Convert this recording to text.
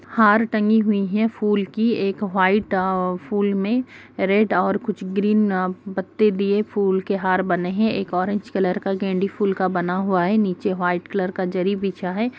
हार टंगी हुई है फूल की एक वाइट अ फूल में रेड और कुछ ग्रीन अ पत्ते दिए फूल के हार बने हैं एक ऑरेंज कलर का गेंड़ी फूल का बना हुआ है नीचे वाइट कलर का जरी बिछा है ।